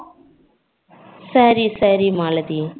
சரி சரி மாலதி